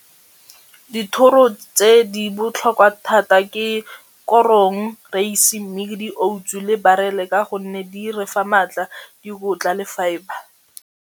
Dithoro tse di botlhokwa thata ke korong, reise, mmidi, outsu, le barele ka gonne di re fa maatla, dikotla le fibre.